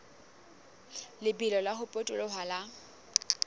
lebelo la ho potoloha ha